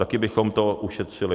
Taky bychom to ušetřili.